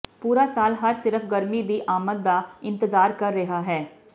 ਪੂਰਾ ਸਾਲ ਹਰ ਸਿਰਫ ਗਰਮੀ ਦੀ ਆਮਦ ਦਾ ਇੰਤਜ਼ਾਰ ਕਰ ਰਿਹਾ ਹੈ